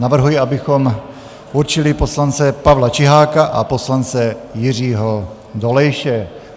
Navrhuji, abychom určili poslance Pavla Čiháka a poslance Jiřího Dolejše.